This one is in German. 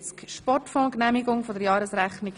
Auch dieses Geschäft wurde von der SiK vorberaten.